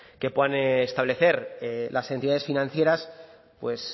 que puedan establecer las entidades financieras pues